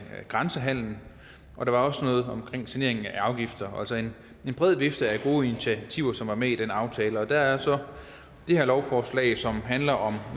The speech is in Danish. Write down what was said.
grænsehandelen og også noget omkring saneringen af afgifter det altså en bred vifte af gode initiativer som var med i den aftale og der er så det her lovforslag som handler om